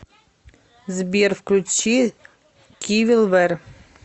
сбер включи кивил вэр